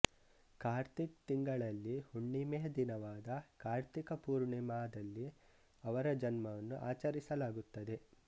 ಕಾರ್ತಿಕ್ ತಿಂಗಳಲ್ಲಿ ಹುಣ್ಣಿಮೆಯ ದಿನವಾದ ಕಾರ್ತಿಕ ಪೂರ್ಣಿಮಾದಲ್ಲಿ ಅವರ ಜನ್ಮವನ್ನು ಆಚರಿಸಲಾಗುತ್ತದೆ